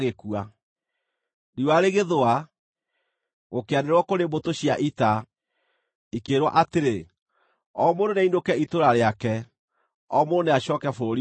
Riũa rĩgĩthũa, gũkĩanĩrĩrwo kũrĩ mbũtũ cia ita, ikĩĩrwo atĩrĩ, “O mũndũ nĩainũke itũũra rĩake; o mũndũ nĩacooke bũrũri wake!”